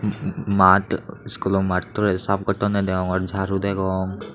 maad skulo maadtore sap gotoney deyongor jaru degong.